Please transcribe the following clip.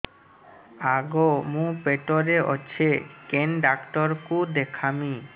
ଆଗୋ ମୁଁ ପେଟରେ ଅଛେ କେନ୍ ଡାକ୍ତର କୁ ଦେଖାମି